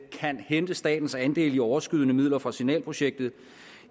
hente statens andel i overskydende midler fra signalprojektet